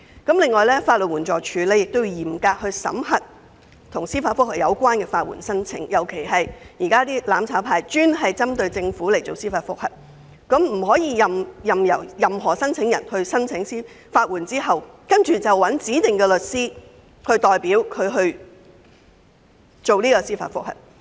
此外，法律援助署亦應嚴格審核與司法覆核有關的法律援助申請，尤其是"攬炒派"現時專門針對政府提出的司法覆核，當局不可任由申請人在獲得法律援助後，由指定的律師代表提出司法覆核申請。